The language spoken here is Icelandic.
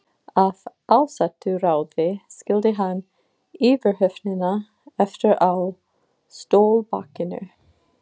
Af ásettu ráði skildi hann yfirhöfnina eftir á stólbakinu.